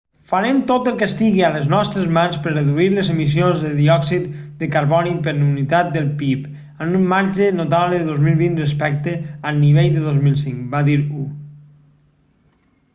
farem tot el que estigui a les nostres mans per reduir les emissions de diòxid de carboni per unitat del pib amb un marge notable el 2020 respecte al nivell del 2005 va dir hu